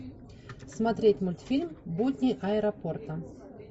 смотреть мультфильм будни аэропорта